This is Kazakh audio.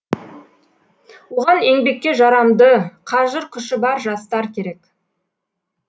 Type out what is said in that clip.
оған еңбекке жарамды қажыр күші бар жастар керек